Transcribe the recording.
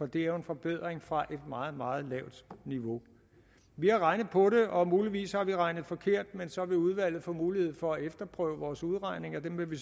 det er jo en forbedring fra et meget meget lavt niveau vi har regnet på det og muligvis regnet forkert men så vil udvalget få mulighed for at efterprøve vores udregninger dem vil vi